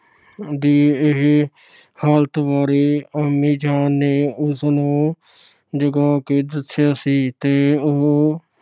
ਦੀ ਇਸ ਹਾਲਤ ਬਾਰੇ ਅੰਮੀ ਜਾਨ ਨੇ ਉਸਨੂੰ ਜਗਾ ਕੇ ਦੱਸਿਆ ਸੀ ਤੇ ਉਹ